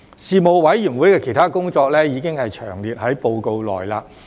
事務委員會的其他工作，已詳列於報告內。